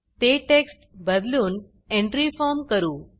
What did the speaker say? ते टेक्स्ट बदलून entry form entry form करू